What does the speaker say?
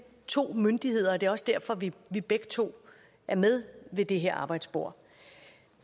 to myndigheder og det er også derfor vi begge to er med ved det her arbejdsbord